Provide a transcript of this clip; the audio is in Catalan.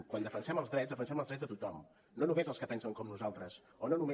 quan defensem els drets defensem els drets de tothom no només dels que pensen com nosaltres o no només